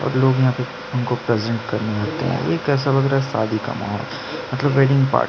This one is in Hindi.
हमको प्रेजेंट करने आता है शादी का माहौल है मतलब वेडिंग पार्टी --